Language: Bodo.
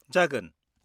-जागोन।